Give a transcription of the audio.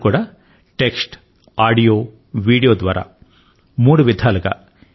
అది కూడా text audio video ల ద్వారా మూడు విధాలుగా